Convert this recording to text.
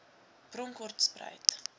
bronkhortspruit